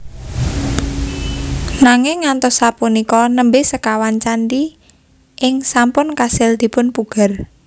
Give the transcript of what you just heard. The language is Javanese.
Nanging ngantos sapunika nembé sekawan candhi ing sampun kasil dipunpugar